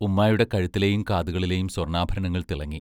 ഉമ്മായുടെ കഴുത്തിലെയും കാതുകളിലെയും സ്വർണാഭരണങ്ങൾ തിളങ്ങി.